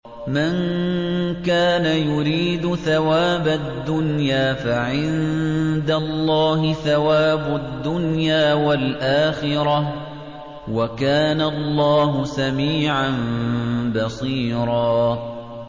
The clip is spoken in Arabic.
مَّن كَانَ يُرِيدُ ثَوَابَ الدُّنْيَا فَعِندَ اللَّهِ ثَوَابُ الدُّنْيَا وَالْآخِرَةِ ۚ وَكَانَ اللَّهُ سَمِيعًا بَصِيرًا